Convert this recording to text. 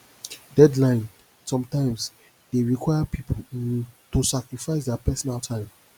deadline sometimes dey require pipo um to sacrifice their personal time